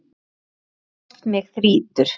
Á hlaupum oft mig þrýtur.